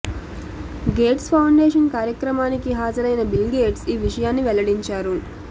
gates foundation కార్యక్రమానికి హాజరైన Bill Gates ఈ విషయాన్ని వెల్లడించారు